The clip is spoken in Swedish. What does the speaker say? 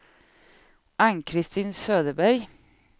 Ann-Kristin Söderberg